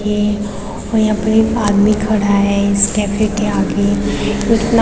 ये और यहाँ पे एक आदमी खड़ा है इस कैफ़े के आगे --